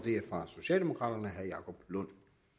er for socialdemokraterne herre jacob lund